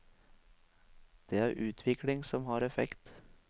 Det er utvikling som har effekt.